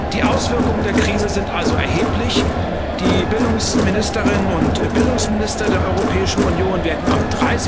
Die Auswirkungen der Krise sind also erheblich, die Bildungsministerinnen und Bildungsminister der Europäischen Union werden am